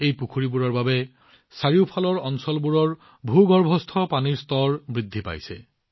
এই পুখুৰীবোৰৰ বাবে চাৰিওফালৰ এলেকাবোৰৰ ভূগৰ্ভস্থ পানীৰ স্তৰ বৃদ্ধি পাইছে